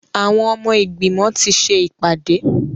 Àwọn ọmọ ìgbìmọ̀ ti ṣe ìpàdé.